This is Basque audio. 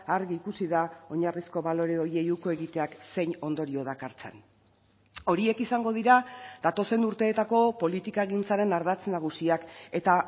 argi ikusi da oinarrizko balore horiei uko egiteak zein ondorio dakartzan horiek izango dira datozen urteetako politikagintzaren ardatz nagusiak eta